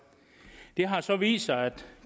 det har så vist sig at